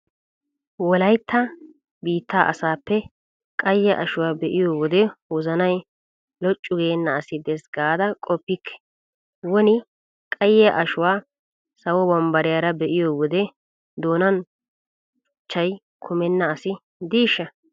Wolaytta biittaa asaappe qayye ashuwa be'iyo wode wozanay loccu geenna asi dees gaada qoppikke! Woni qayye ashuwa sawo bambbariyara be'iyo wode doonan cuchchay kumenna asi diishsha!